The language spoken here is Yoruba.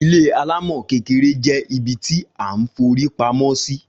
Ilé alámò kékeré je ibi tí a n forí pamó sì